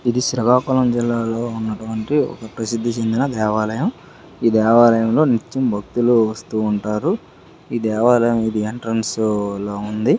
ఇది శ్రీకాకుళం జిల్లాలో ఉన్నటువంటి ఒక ప్రసిద్ధి చెందిన దేవాలయం ఈ దేవాలయంలో నిత్యం భక్తులు వస్తూ ఉంటారు. ఈ దేవాలయం ఇది ఎంట్రెన్స్ లా ఉంది.